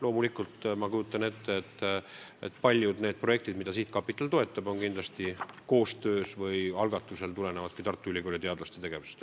Loomulikult ma kujutan ette, et paljud projektid, mida sihtkapital toetab, tulenevad Tartu Ülikooli teadlaste tegevusest.